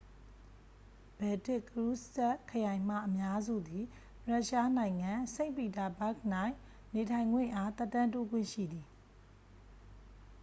ဘယ်တစ်ကရူးစ်စက်စ်ခရိုင်မှ အများစုသည် ရုရှားနိုင်ငံ စိန့်ပီတာဘာ့ဂ်၌ နေထိုင်ခွင့်အား သက်တမ်းတိုးခွင့်ရှိသည်